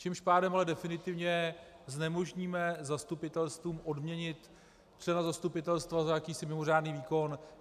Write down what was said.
Tím pádem ale definitivně znemožníme zastupitelstvům odměnit člena zastupitelstva za jakýsi mimořádný výkon.